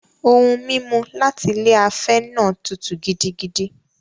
Ohun-mímu láti ilé afẹ́ náà tútù gidigidi.